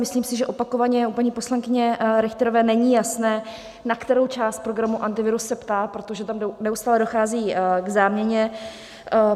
Myslím si, že opakovaně u paní poslankyně Richterové není jasné, na kterou část programu Antivirus se ptá, protože tam neustále dochází k záměně.